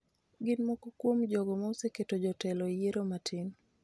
gin moko kuom jogo ma oseketo jotelo e yiero matin